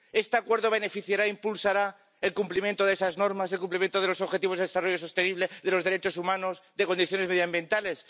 ¿Este acuerdo beneficiará e impulsará el cumplimiento de esas normas, el cumplimiento de los Objetivos de Desarrollo Sostenible, de los derechos humanos, de condiciones medioambientales?